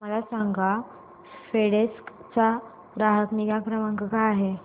मला सांगा फेडेक्स चा ग्राहक निगा क्रमांक काय आहे